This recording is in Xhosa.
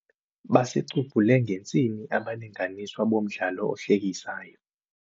Basicubhule ngentsini abalinganiswa bomdlalo ohlekisayo.